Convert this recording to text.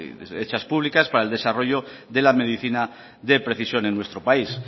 hechas públicas para el desarrollo de la medicina de precisión en nuestro país